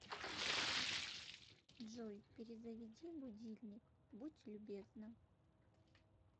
джой перезаведи будильник будь любезна